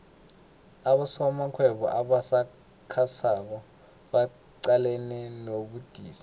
abosomarhwebo abasakhasako baqalene nobudisi